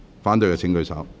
反對的請舉手。